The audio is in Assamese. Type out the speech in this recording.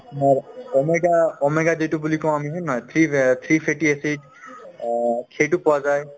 হয় omega~ omega বুলি কওঁ আমি হয় নে নহয় three~ three fatty acid অ সেইটো পোৱা যায়